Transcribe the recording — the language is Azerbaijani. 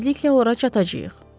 Tezliklə ora çatacağıq.